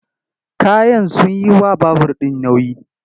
Kayan sun yi wa babur ɗin nauyi.